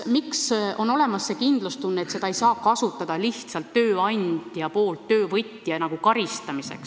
Miks on olemas see kindlustunne, et tööandja ei saa seda kasutada lihtsalt töövõtja karistamiseks?